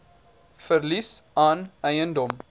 verlies aan eiendom